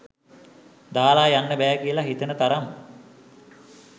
දාලා යන්න බෑ කියලා හිතෙන තරම්